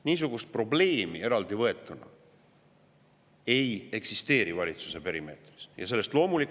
Niisugust probleemi eraldi võetuna valitsuse perimeetris ei eksisteeri.